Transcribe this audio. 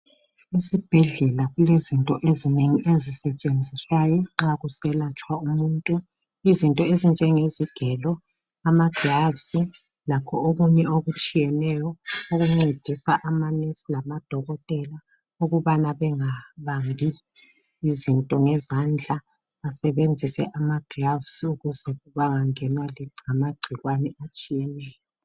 Esibhedlela kulezinto ezinengi ezisetshenziswayo nxa kuselatshwa umuntu, izinto ezinjengezigelo, ama gloves, lakho okunye okutshiyeneyo okuncedisa amanensi lamadokotela ukubana bengabambi izinto ngezandla basebenzise ama gloves ukuze bangangenwa ngamagcikwane atshiyeneyo